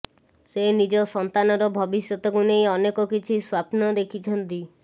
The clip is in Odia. ସେ ନିଜ ସନ୍ତାନର ଭବିଷ୍ୟତକୁ ନେଇ ଅନେକ କିଛି ସ୍ୱାପ୍ନ ଦେଖିଛନ୍ତି